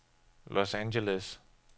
Los Angeles